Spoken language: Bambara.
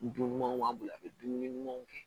Dunumanw b'an bolo a bɛ dumuni ɲumanw kɛ